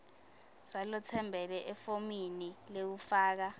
salotsembele efomini lekufaka